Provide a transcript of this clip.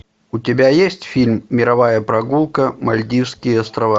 у тебя есть фильм мировая прогулка мальдивские острова